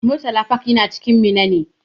Murtala park yana cikin garin Minna ne.